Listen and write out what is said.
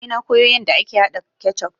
Naje na koyo yanda ake haɗa kecuf